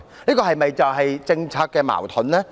這是否政策矛盾呢？